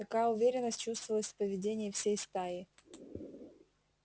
такая уверенность чувствовалась в поведении всей стаи